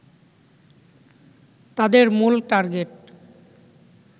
তাদের মূল টার্গেট